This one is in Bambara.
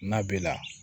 N'a b'i la